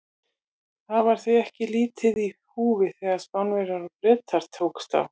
Það var því ekki lítið í húfi þegar Spánverjar og Bretar tókust á.